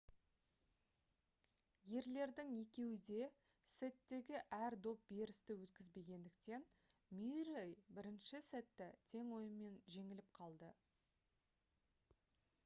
ерлердің екеуі де сеттегі әр доп берісті өткізбегендіктен мюррей бірінші сетте тең ойынмен жеңіліп қалды